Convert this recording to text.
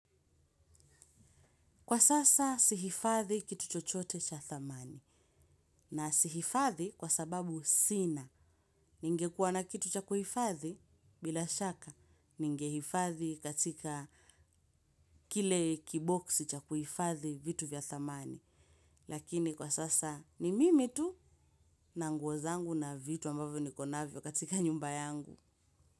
Kwa sasa si hifadhi kitu chochote cha thamani. Na si hifadhi kwa sababu sina. Ningekuwa na kitu cha kuhifadhi bila shaka. Ningehifadhi katika kile kiboksi cha kuhifadhi vitu vya thamani. Lakini kwa sasa ni mimi tu na nguo zangu na vitu ambavyo niko navyo katika nyumba yangu.